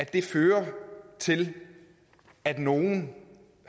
det fører til at nogle